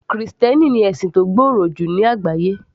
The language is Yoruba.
Krìstẹ́nì ni ẹ̀sìn tó gbòòrò jù ní àgbáyé